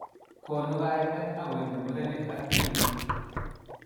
Konu kaimet akoimi murenik ak tibik.